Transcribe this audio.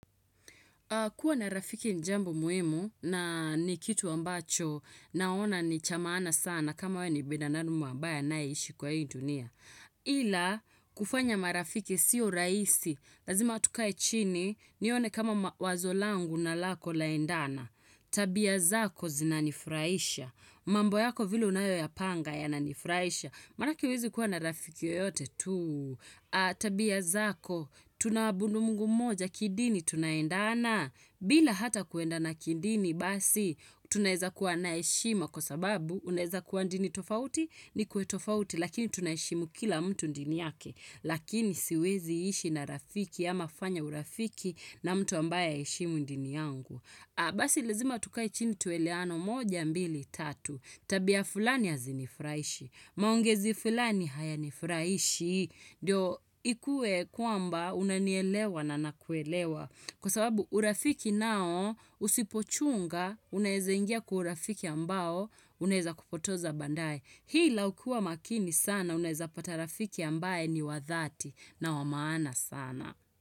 Kuwa na rafiki ni jambo muhimu na nikitu ambacho naona ni cha maana sana kama wewe ni bidanamu ambaye anayeshi kwa hii dunia. Ila kufanya marafiki sio rahisi, lazima tuka chini, nione kama wazo langu na lako laendana. Tabia zako zinanifurahisha, mambo yako vile unayoyapanga yananifurahisha. Marafiki huwezi kuwa na rafiki yoyote tu, tabia zako, tunaabudu mungu moja kidini tunaendana, bila hata kuenda na kidini basi, tunaeza kuwa na heshima kwa sababu, unaeza kuwa ndini tofauti nikue tofauti, lakini tunaheshimu kila mtu dini yake, lakini siwezi ishi na rafiki ama kufanya urafiki na mtu ambaye haeshimu dini yangu. Basi lazima tukae chini tuelewanwe moja mbili tatu. Tabia fulani hazi nifurahishi. Maongezi fulani hayanifurahishi. Ndio ikue kwamba unanielewa na nakuelewa. Kwa sababu urafiki nao usipochunga unaeza ingia kwa urafiki ambao unaeza kupotoza baadae. Hila ukiwa makini sana unaeza pata rafiki ambae ni wa dhati na wa maana sana.